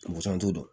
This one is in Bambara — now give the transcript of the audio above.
Busan t'u bolo